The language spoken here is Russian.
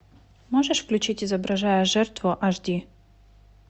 можешь включить изображая жертву аш ди